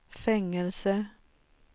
fängelse